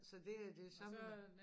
Så det er det samme